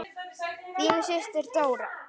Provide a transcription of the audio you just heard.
Þín systir, Dóra.